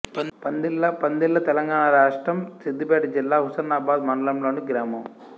పందిళ్ళ పందిళ్ళ తెలంగాణ రాష్ట్రం సిద్ధిపేట జిల్లా హుస్నాబాద్ మండలంలోని గ్రామం